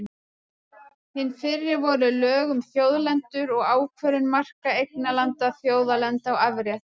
Hin fyrri voru lög um þjóðlendur og ákvörðun marka eignarlanda, þjóðlendna og afrétta.